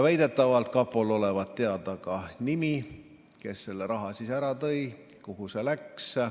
Väidetavalt olevat kapol teada ka selle isiku nimi, kes selle raha ära tõi, ja kuhu see läks.